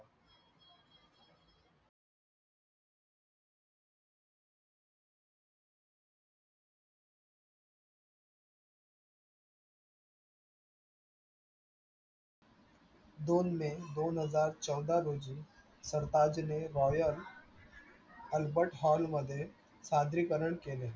दोन मे दोनहजार चौदा रोजी Albert hall मध्ये सादरीकरण केले.